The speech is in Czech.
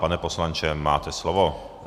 Pane poslanče, máte slovo.